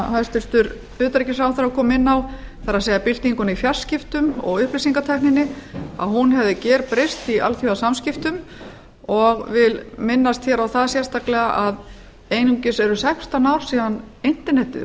hæstvirtur utanríkisráðherra kom inn á það er byltinguna í fjarskiptum og upplýsingatækninni hún hefur gerbreyst í alþjóðasamskiptum og vil minnast hér að það sérstaklega að einungis eru sextán ár síðan internetið